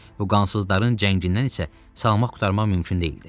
Bu qansızların cəngindən isə salamat qurtarmaq mümkün deyildi.